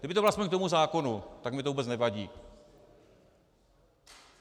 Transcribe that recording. Kdyby to bylo aspoň k tomu zákonu, tak mi to vůbec nevadí.